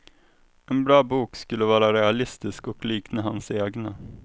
En bra bok skulle vara realistisk och likna hans egna.